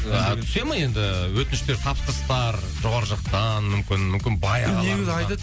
ааа түсе ме енді өтініштер тапсырыстар жоғары жақтан мүмкін мүмкін бай